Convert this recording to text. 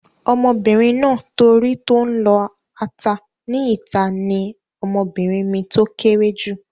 Ọmọbìnrin náà tó rí tó n lọ ata ní ìta ní ọmọbìnrin mi tó kéré jù